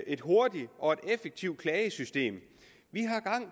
et hurtigt og effektivt klagesystem vi